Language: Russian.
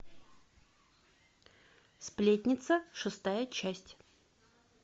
сплетница шестая часть